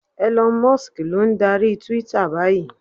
Elon Musk ló ń darí Twitter báyìí.